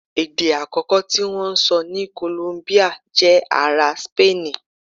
Èdè àkọ́kọ́ tí wọ́n ń sọ ní Kòlóńbíà jẹ́ ará Sípéènì